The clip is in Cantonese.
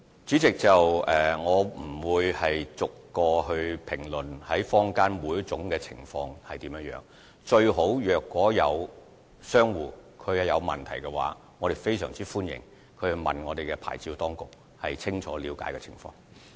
主席，我不會逐一評論坊間出現的每種情況，若商戶存疑，我們非常歡迎他們親自向牌照事務處查詢，清楚了解情況。